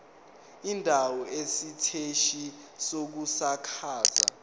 indawo isiteshi sokusakaza